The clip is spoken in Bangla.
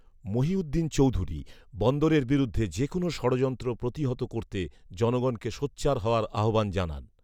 মহিউদ্দিন চৌধুরী বন্দরের বিরুদ্ধে যেকোনো ষড়য়ন্ত্র প্রতিহত করতে জনগণকে সোচ্চার হওয়ার আহ্বান জানান